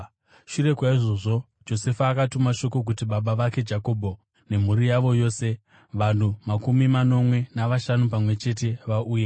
Shure kwaizvozvo, Josefa akatuma shoko kuti baba vake Jakobho, nemhuri yavo yose, vanhu makumi manomwe navashanu pamwe chete, vauye.